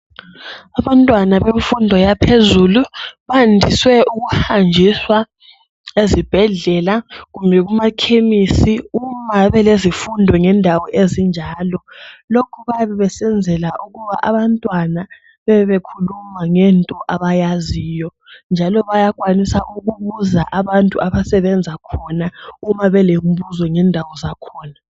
Abantwana bemfundo yaphezulu, bandiswe ukuhanjiswa ezibhedlela kumbe kumakhemisi uma belezifundo ngendawo ezinjalo. Lokhu bayabe besenzela ukuba abantwana bebe bekhuluma ngento abayaziyo njalo bayakhwanisa ukubuza abantu abasebenzakhona uma belembuzo ngendawo zakhona.